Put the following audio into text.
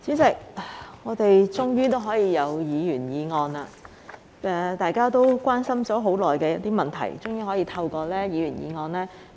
代理主席，我們終於可以處理議員議案，就大家很關心的議題進行辯論。